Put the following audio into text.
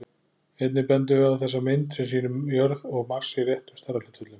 Einnig bendum við á þessa mynd, sem sýnir jörð og Mars í réttum stærðarhlutföllum.